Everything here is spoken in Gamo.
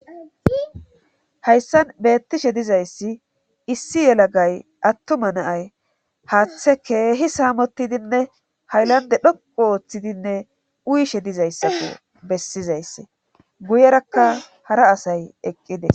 Hayssan beettishe dizayssi issi yelagay attuma naay haaththe keehi saamotidinne haylande dhoqo ooththidinne uyishe dizayssako bessizaysse guyerakka hara asay eqqide.